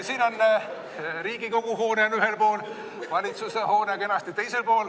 Siin on Riigikogu hoone ühel pool, valitsuse hoone kenasti teisel pool.